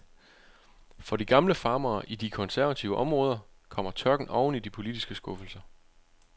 For de gamle farmere i de konservative områder kommer tørken oveni de politiske skuffelser.